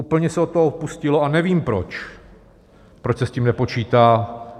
Úplně se od toho upustilo a nevím proč, proč se s tím nepočítá.